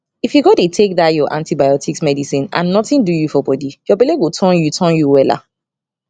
if u go dey take dah ur antibiotics medicine and nothing do u for body ur belle go turn u turn u wella